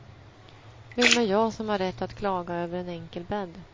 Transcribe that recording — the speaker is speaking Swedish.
Vem är jag som har rätt att klaga över en enkel bädd.